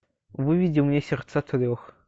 выведи мне сердца трех